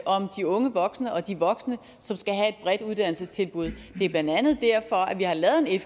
om de unge voksne og de voksne som skal have et bredt uddannelsestilbud det er blandt andet derfor at vi har lavet en